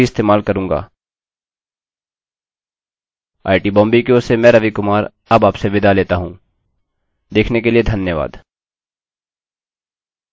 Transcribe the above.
IIT Bombay की ओर से मैं रवि कुमार अब आपसे विदा लेता हूँ देखने के लिए धन्यवाद